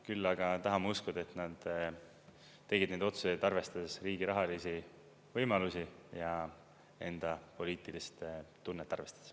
Küll aga tahan ma uskuda, et nad tegid need otsused, arvestades riigi rahalisi võimalusi ja enda poliitilist tunnet arvestades.